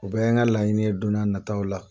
U bɛɛ ye n ka laɲini don na nataw la.